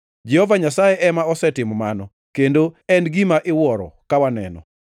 Jehova Nyasaye ema osetimo mano, kendo en gima iwuoro ka waneno.’ + 12:11 \+xt Zab 118:22,23\+xt* ”